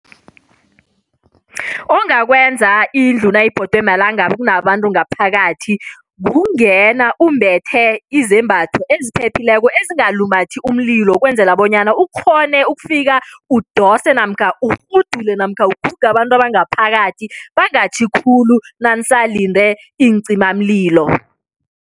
Ongakwenza indlu nayibhodwe malangabi kunabantu ngaphakathi, kungena umbethe izembatho eziphephileko ezingalumathi umlilo ukwenzela bonyana ukghone ukufika udose namkha urhudule namkha uguge abantu abangaphakathi, bangatjhi khulu nanisalinde iincimamlilo.